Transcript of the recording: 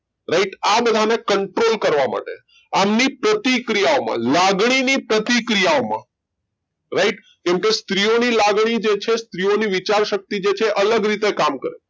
right આ બધા ને control કરવા માટે આમની પ્રતિક્રિયા ઓ માટે લાગણી ની પ્રતિ ક્રિયા ઓ માટે right કેમ ક સ્ત્રી ઓ ની લાગણી જે છે એની વિચાર શક્તિ છે એ અલગ કામ કરે